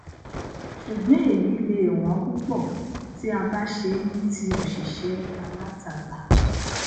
ṣùgbọn èyí le è wọn púpọ tí a bá ṣe ní ti òṣìṣẹ alátagbà